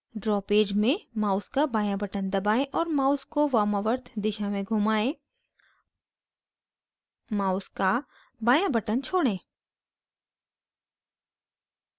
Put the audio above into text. draw page में mouse का बायाँ button दबाएं और mouse को वामावर्त दिशा में घुमाएं mouse का बायाँ button छोड़ें